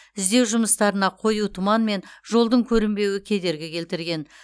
іздеу жұмыстарына қою тұман мен жолдың көрінбеуі кедергі келтірген